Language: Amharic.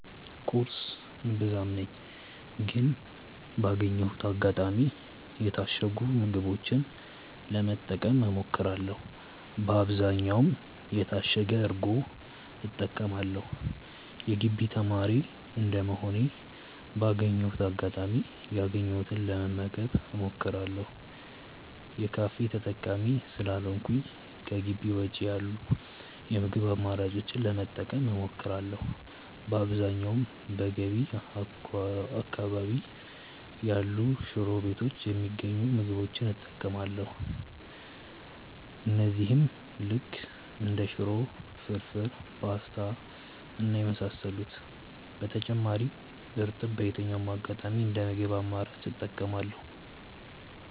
ቁርስ እምብዛም ነኝ ግን ባገኘሁት አጋጣሚ የታሸጉ ምግቦችን ለመጠቀም እሞክራለው በአብዛኛውም የታሸገ እርጎ እጠቀማለው። የግቢ ተማሪ እንደመሆኔ ባገኘሁት አጋጣሚ ያገኘሁትን ለመመገብ እሞክራለው። የካፌ ተጠቃሚ ስላልሆንኩኝ ከጊቢ ውጪ ያሉ የምግብ አማራጮችን ለመጠቀም እሞክራለው። በአብዛኛውም በገቢ አካባቢ ያሉ ሽሮ ቤቶች የሚገኙ ምግቦች እጠቀማለው እነዚህም ልክ እንደ ሽሮ፣ ፍርፉር፣ ፖስታ እና የመሳሰሉት። በተጨማሪም እርጥብ በየትኛውም አጋጣሚ እንደ ምግብ አማራጭ እጠቀማለው።